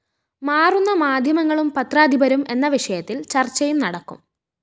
മാറുന്ന മാധ്യങ്ങളും പത്രാധിപരും എന്ന വിഷയത്തില്‍ ചര്‍ച്ചയും നടക്കും